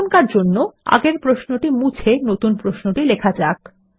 এখনকার জন্য আগের প্রশ্নটি মুছে নতুন প্রশ্নটি লেখা যাক